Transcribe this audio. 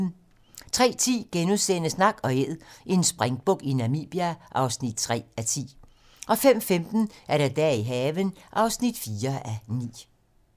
03:10: Nak & Æd - en springbuk i Namibia (3:10)* 05:15: Dage i haven (4:9)